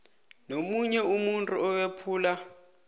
nomunye umuntu owephula